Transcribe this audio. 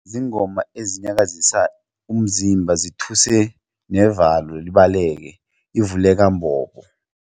Ziingoma ezinyakazisa umzimba zithuse navalo libaleke ivuleka mbobo.